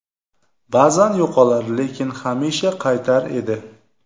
Ba’zan yo‘qolar, lekin hamisha qaytar edi.